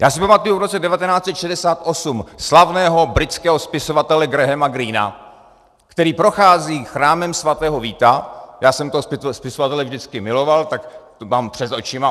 Já si pamatuji v roce 1968 slavného britského spisovatele Grahama Greena, který prochází Chrámem svatého Víta - já jsem toho spisovatele vždycky miloval, tak to mám před očima.